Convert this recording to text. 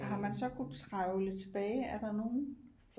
Har man så kunnet trævle tilbage er der nogen